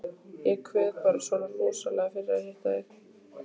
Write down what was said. Ég kveið bara svona rosalega fyrir að hitta þig.